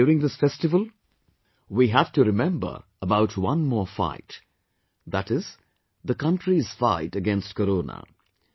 But during this festival we have to remember about one more fight that is the country's fight against Corona